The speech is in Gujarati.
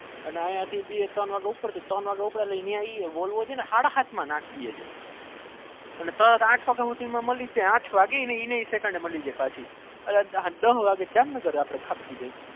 અહી થી બે ત્રણ વાગે ઉપદે ત્રણ વાગે ઉપદે તો સારા ત્રણ માં આંઠ વાગે મારી જાય જામનગર માં થપકી જાય